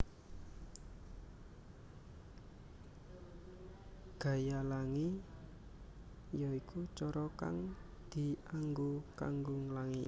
Gaya Langi ya iku cara kang dianggo kanggo nglangi